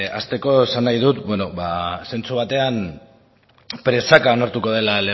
hasteko esan nahi dut zentzu batean presaka lortuko dela